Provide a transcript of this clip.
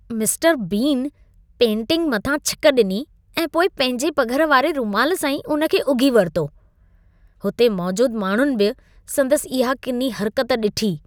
Mister Bean painting मथां छिक ॾिनी ऐं पोइ पंहिंजे पघर वारे रूमाल सां ई उन खे उघी वरितो। हुते मौजूद माण्हुनि बि संदसि इहा किनी हर्कत ॾिठी।